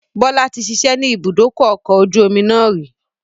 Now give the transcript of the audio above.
Bọlá tí ṣiṣẹ́ ni ibùdókọ̀ ọkọ̀ ojú omi náà rì